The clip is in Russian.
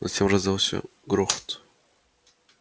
затем раздался грохот